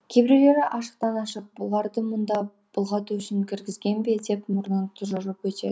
кейбіреулері ашықтан ашық бұларды мұнда былғату үшін кіргізген бе деп мұрнын тұжырып өтеді